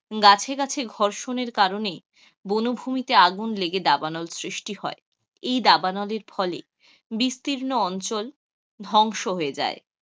গাছে গাছে ঘর্ষণের কারণে বনভূমিতে আগুন লেগে দাবানল সৃষ্টি হয়, এই দাবানলের ফলে বিস্তির্ণ অঞ্চল ধ্বংস হয়ে যায়,